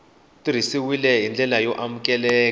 tirhisiwile hi ndlela yo amukeleka